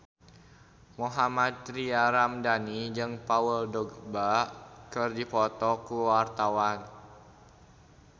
Mohammad Tria Ramadhani jeung Paul Dogba keur dipoto ku wartawan